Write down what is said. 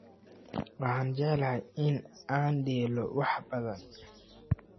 Waxaan jeclahay in aan dheelo wax badan